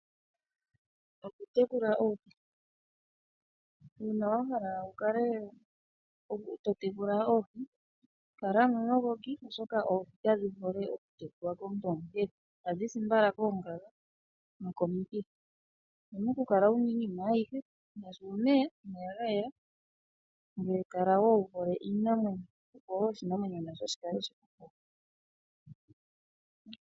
Okutekula oohi Uuna wa hala wu kale to tekula oohi, kala omuyogoki, oshoka oohi kadhi hole okutekulwa komuntu omuhethi. Ohadhi si mbala koongaga nokomikithi. Owu na okukala wu na iinima ayihe ngaashi omeya ga yela, ngoye kala wo wu hole iinamwenyo, opo wo oshinamwenyo nasho shi kale shi ku hole.